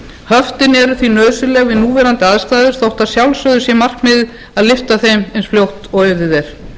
höftin eru því nauðsynleg við núverandi aðstæður þó að sjálfsögðu sé markmiðið að lyfta þeim eins fljótt og auðið er